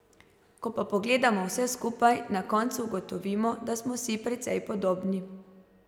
Ko pa pogledamo vse skupaj, na koncu ugotovimo, da smo si precej podobni.